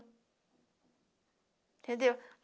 Entendeu?